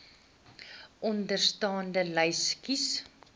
onderstaande lys kies